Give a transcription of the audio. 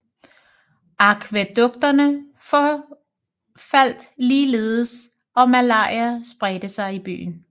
Akvædukterne forfaldt ligeledes og malaria spredte sig i byen